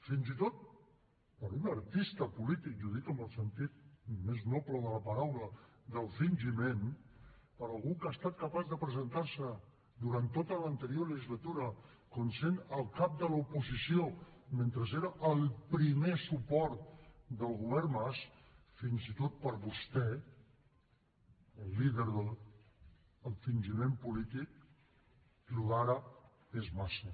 fins i tot per a un artista polític i ho dic amb el sentit més noble de la paraula del fingiment per a algú que ha estat capaç de presentar se durant tota l’anterior legislatura com sent el cap de l’oposició mentre era el primer suport del govern mas fins i tot per a vostè el líder del fingiment polític això d’ara és massa